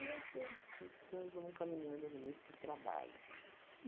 assim, nós vamos caminhando nesses trabalhos.